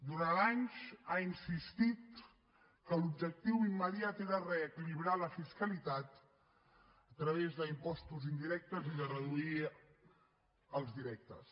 durant anys ha insistit que l’objectiu immediat era reequilibrar la fiscalitat a través d’impostos indirectes i de reduir els directes